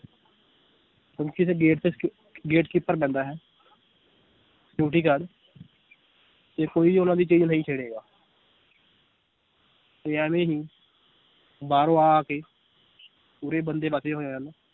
ਹੁਣ ਕਿਸੇ gate ਤੇ ਸ~ gatekeeper ਬਹਿੰਦਾ ਹੈ security guard ਤੇ ਕੋਈ ਉਹਨਾਂ ਦੀ ਚੀਜ਼ ਨਹੀਂ ਛੇੜੇਗਾ ਵੀ ਐਵੇਂ ਨੀ ਬਾਹਰੋਂ ਆ ਆ ਕੇ ਉਰੇ ਬੰਦੇ ਵਸੇ ਹੋਏ ਹਨ l